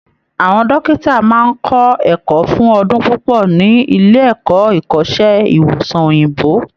Àwọn dọ́kìtà máa ń kọ́ ẹ̀kọ́ fún ọdún púpọ́ ní iléẹ̀kọ́ ìkọ́sẹ́ ìwòsàn òyìnbó